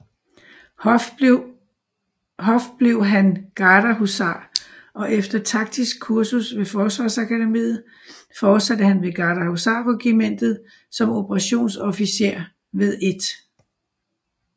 Hoff blev han gardehusar og efter Taktisk Kursus ved Forsvarsakademiet fortsatte han ved Gardehusarregimentet som operationsofficer ved 1